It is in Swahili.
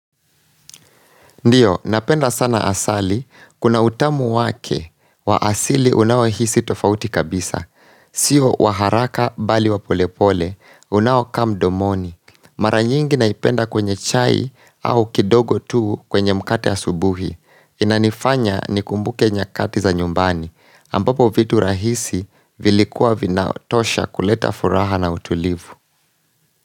Ndiyo, napenda sana asali, kuna utamu wake wa asili unawohisi tofauti kabisa. Sio waharaka bali wapolepole, unawaka mdomoni. Maranyingi naipenda kwenye chai au kidogo tuu kwenye mkate asubuhi. Inanifanya nikumbuke nyakati za nyumbani, ambapo vitu rahisi vilikuwa vinaotosha kuleta furaha na utulivu.